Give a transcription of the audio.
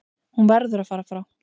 Hún verður að fara frá